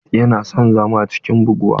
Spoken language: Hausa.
Yana son zama cikin buguwa.